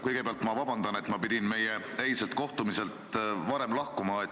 Kõigepealt vabandust, et ma pidin meie eilselt kohtumiselt varem lahkuma.